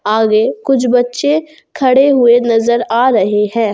आगे कुछ बच्चे खड़े हुए नजर आ रहे हैं।